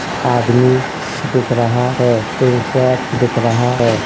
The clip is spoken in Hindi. आदमी दिख रहा है। टीन शेड दिख रहा है।